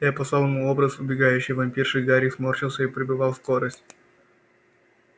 я послал ему образ убегающей вампирши гарик сморщился и прибывал скорость